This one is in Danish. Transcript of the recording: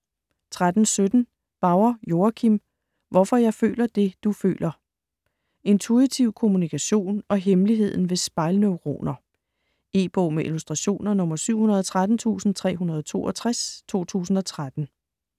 13.17 Bauer, Joachim: Hvorfor jeg føler det, du føler Intuitiv kommunikation og hemmeligheden ved spejlneuroner. E-bog med illustrationer 713362 2013.